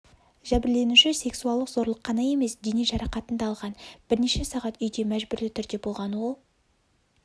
жәбірленуші сексуалық зорлық қана емес дене жарақатын да алған бірнеше сағат үйде мәжбүрлі түрде болған ол